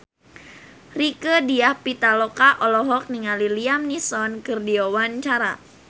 Rieke Diah Pitaloka olohok ningali Liam Neeson keur diwawancara